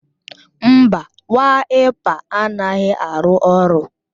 Mba, Waịpa anaghị arụ ọrụ